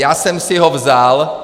Já jsem si ho vzal...